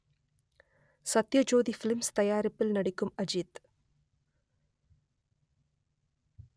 Sathyajothi films தயாரிப்பில் நடிக்கும் அஜித்